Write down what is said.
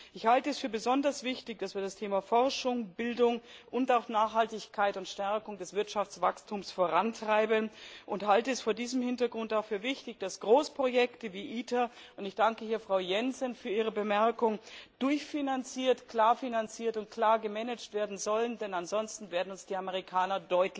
Ich halte es für besonders wichtig, dass wir die Themen Forschung, Bildung und auch Nachhaltigkeit und Stärkung des Wirtschaftswachstums vorantreiben, und halte es vor diesem Hintergrund auch für wichtig, dass Großprojekte wie ITER und ich danke hier Frau Jensen für ihre Bemerkung durchfinanziert, klar finanziert und klar gemanagt werden sollen, denn ansonsten werden uns die Amerikaner,